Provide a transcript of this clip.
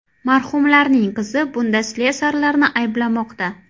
Marhumlarning qizi bunda slesarlarni ayblamoqda.